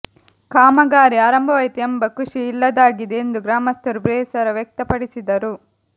ಕಾಮಗಾರಿ ಆರಂಭವಾಯಿತು ಎಂಬ ಖುಷಿಯೂ ಇಲ್ಲದಾಗಿದೆ ಎಂದು ಗ್ರಾಮಸ್ಥರು ಬೇಸರ ವ್ಯಕ್ತಪಡಿಸಿದರು